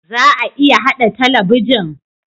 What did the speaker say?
Za a iya haɗa talabijin?